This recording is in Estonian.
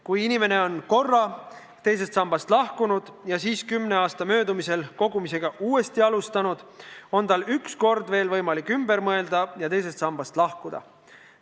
Kui inimene on ühe korra teisest sambast lahkunud ja siis kümne aasta möödumisel kogumist uuesti alustanud, on tal veel üks kord võimalik ümber mõelda ja teisest sambast lahkuda.